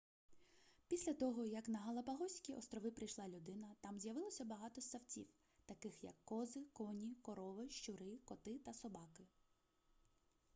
після того як на галапагоські острови прийшла людина там з'явилося багато ссавців таких як кози коні корови щури коти та собаки